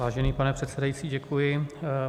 Vážený pane předsedající, děkuji.